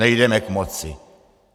Nejdeme k moci.